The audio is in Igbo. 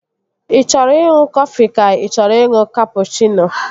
Ị chọrọ ịṅụ kọfị ka ị chọrọ ịṅụ kapụchịno?